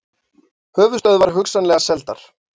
Höfuðstöðvar hugsanlega seldar